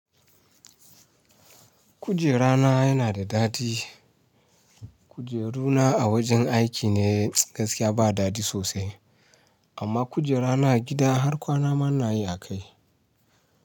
Kujera na yana da daɗi. Kujeru na a wajen aiki ne gaskiya ba daɗi sosai, amma kujera na a gida har kwana ma ina yi a kai.